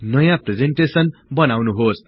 नयाँ प्रिजेन्टेसन बनाउनुहोस्